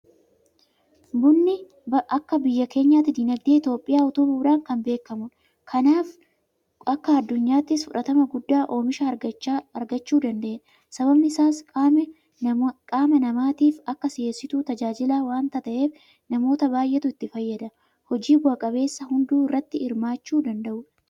Bunni akka biyya keenyaatti diinagdee Itoophiyaa utubuudhaan kan beekamudha. Kanaaf akka addunyaattis fudhatama guddaa oomisha argachuu danda'edha. Sababni isaas qaama namaatiif akka si'eessituutti tajaajila waanta ta'eef namoota baay'eetu itti fayyadama. Hojii bu'a qabeessa hunduu irratti hirmaachuu danda'udha.